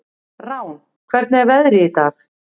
Rán, hvernig er veðrið í dag?